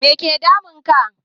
Make damun ka?